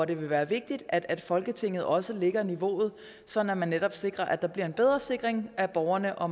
det vil være vigtigt at folketinget også lægger niveauet så man netop sikrer at der bliver en bedre sikring af borgerne og